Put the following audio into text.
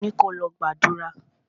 Mo ni kò lọ gbàdúrà!